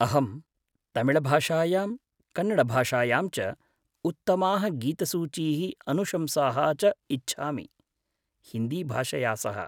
अहं तमिळभाषायां कन्नडभाषायां च उत्तमाः गीतसूचीः अनुशंसाः च इच्छामि, हिन्दीभाषया सह।